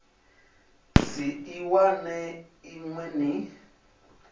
si i wane inwi ni